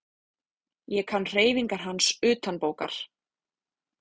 Ég kann hreyfingar hans utanbókar.